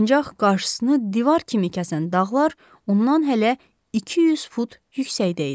Ancaq qarşısını divar kimi kəsən dağlar ondan hələ 200 fut yüksəkdə idi.